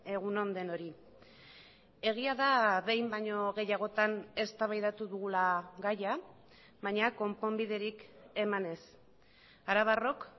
egun on denoi egia da behin baino gehiagotan eztabaidatu dugula gaia baina konponbiderik eman ez arabarrok